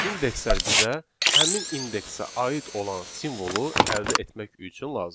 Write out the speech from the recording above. İndekslər bizə həmin indeksə aid olan simvolu əldə etmək üçün lazımdır.